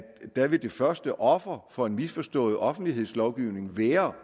der vil det første offer for en misforstået offentlighedslovgivning være